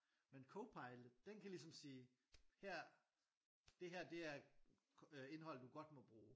Men Copilot den kan ligesom sige her dét her det er indhold du godt må bruge